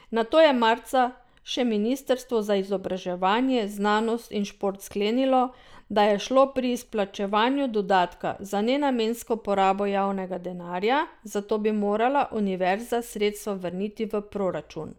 Nato je marca še ministrstvo za izobraževanje, znanost in šport sklenilo, da je šlo pri izplačevanju dodatka za nenamensko porabo javnega denarja, zato bi morala univerza sredstva vrniti v proračun.